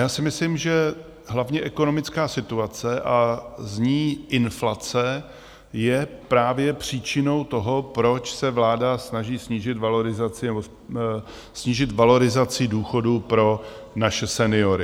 Já si myslím, že hlavně ekonomická situace a z ní inflace je právě příčinou toho, proč se vláda snaží snížit valorizaci důchodů pro naše seniory.